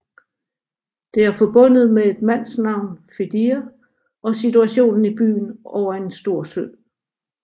Det er forbundet med et mandsnavn Fedir og situationen i byen over en stor sø